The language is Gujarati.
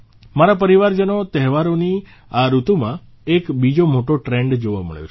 મારા પરિવારજનો તહેવારોની આ ઋતુમાં એક બીજો મોટો ટ્રેન્ડ જોવા મળ્યો છે